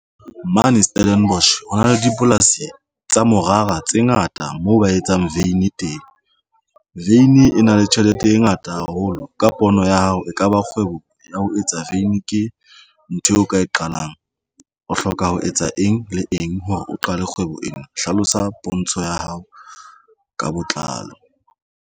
Mane Stellenbosch ho na le dipolasi tsa morara tse ngata moo ba etsang veini teng. Vein e na le tjhelete e ngata haholo ka pono ya hao e kaba kgwebo ho ya ho etsa veini. Ke ntho eo nka e qalang. O hloka ho etsa eng le eng hore o qale kgwebo ena. Hlalosa pontsho ya hao ka botlalo.